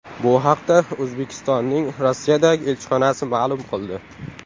Bu haqda O‘zbekistonning Rossiyadagi elchixonasi ma’lum qildi .